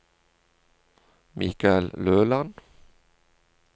Michael Løland